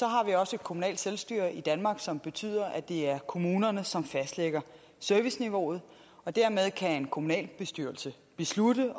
har vi også et kommunalt selvstyre i danmark som betyder at det er kommunerne som fastlægger serviceniveauet dermed kan en kommunalbestyrelse beslutte